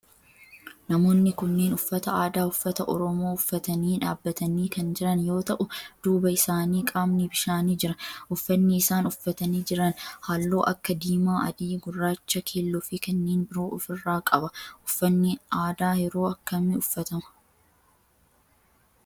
Namoonni kunneen uffata aadaa ummata oromoo uffatanii dhaabbatanii kan jiran yoo ta'u duuba isaanii qaamni bishaanii jira. Uffanni isaan uffatanii jiran halluu akka diimaa, adii, gurraacha, keelloo fi kanneen biroo of irraa qaba. Uffanni aadaa yeroo akkamii uffatama?